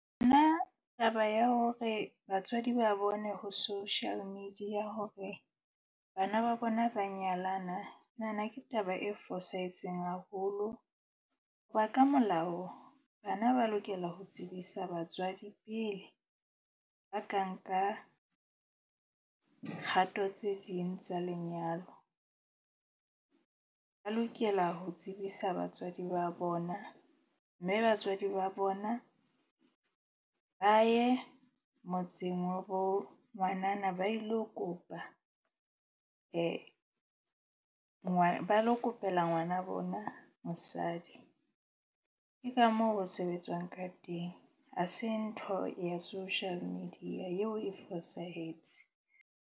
Nna taba ya hore batswadi ba bone ho social media hore bana ba bona ba nyalana. Nahana ke taba e fosahetseng haholo. Hoba ka molao bana ba lokela ho tsebisa batswadi pele ba ka nka kgato tse ding tsa lenyalo. Ba lokela ho tsebisa batswadi ba bona, mme batswadi ba bona ba ye motseng wa bo ngwanana ba ilo kopa ba lo kopela ngwana bona mosadi. Ke ka moo ho sebetswang ka teng. Ha se ntho ya social media yeo e fosahetse.